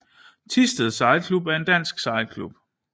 Thisted Sejlklub er en dansk sejlklub